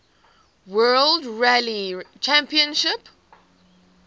world rally championship